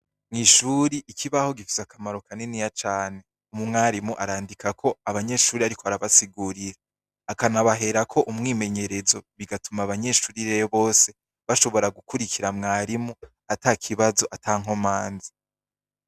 Mwishuri ikibaho gifise akamaro kaniniya cane. Umwarimu arandikako abanyeshuri ariko arabasigurira akanabaherako umwimenyerezo bigatuma abanyeshuri rero bose bashobora gukurikira mwarimu ata kibazo ata nkomanzi.